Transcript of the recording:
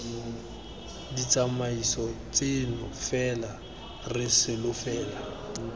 ditsamaiso tseno fela re solofela